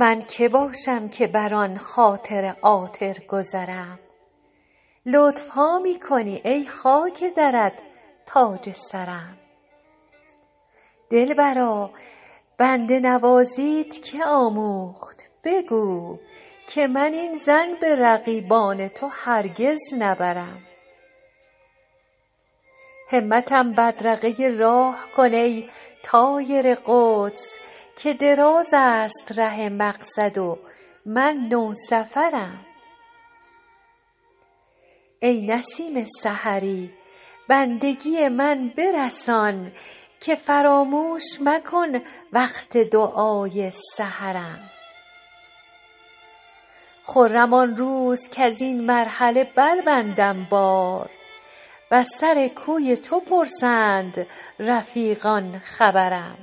من که باشم که بر آن خاطر عاطر گذرم لطف ها می کنی ای خاک درت تاج سرم دلبرا بنده نوازیت که آموخت بگو که من این ظن به رقیبان تو هرگز نبرم همتم بدرقه راه کن ای طایر قدس که دراز است ره مقصد و من نوسفرم ای نسیم سحری بندگی من برسان که فراموش مکن وقت دعای سحرم خرم آن روز کز این مرحله بربندم بار و از سر کوی تو پرسند رفیقان خبرم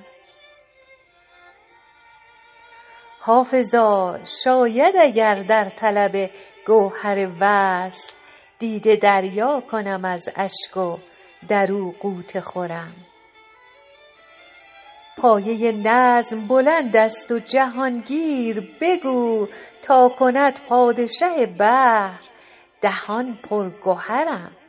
حافظا شاید اگر در طلب گوهر وصل دیده دریا کنم از اشک و در او غوطه خورم پایه نظم بلند است و جهان گیر بگو تا کند پادشه بحر دهان پر گهرم